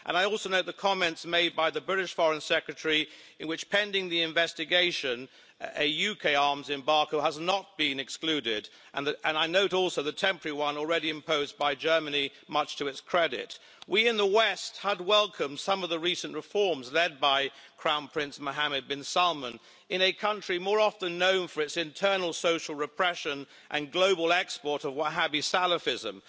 I also note the comments made by the British Foreign Secretary in which, pending the investigation, a UK arms embargo has not been excluded. I note also the temporary one already imposed by Germany, much to its credit. We in the West had welcomed some of the recent reforms led by Crown Prince Mohammed bin Salman, in a country more often known for its internal social repression and global export of Wahhabi Salafism.